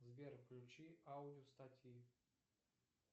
сбер включи аудио статьи